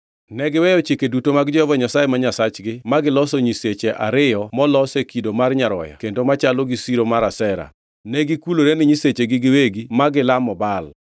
Negiweyo chike duto mag Jehova Nyasaye ma Nyasachgi magiloso nyiseche ariyo molos e kido mar nyaroya kendo machalo gi siro mar Ashera. Negikulore ne nyisechegi giwegi ma gilamo Baal.